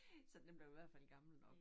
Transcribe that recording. Så den blev i hvert fald gammel deroppe